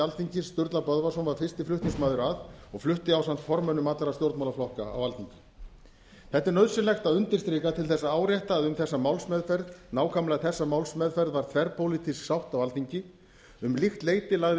alþingis sturla böðvarsson var fyrsti flutningsmaður að og flutti ásamt formönnum allra stjórnmálaflokka á alþingi þetta er nauðsynlegt að undirstrika til að árétta að um þessa málsmeðferð nákvæmlega þessa málsmeðferð var þverpólitísk sátt á alþingi um líkt leyti lagði